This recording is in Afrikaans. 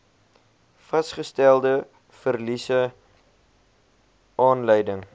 vasgestelde verliese aanleiding